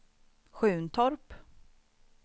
Sjuntorp